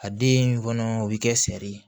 A den kɔnɔ o bɛ kɛ sɛri ye